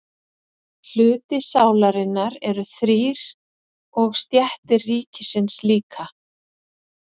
Hlutar sálarinnar eru þrír og stéttir ríkisins líka.